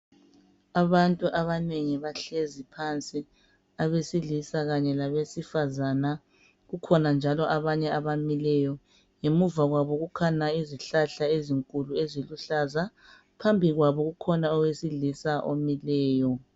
Abantu abanengi bahlezi phansi abesilisa kanye labesifazana kukhona njalo abanye abamileyo ngemuva kwabo kukhona izihlahla ezinkulu eziluhlaza phambi kwabo kukhona owesilisa omileyo.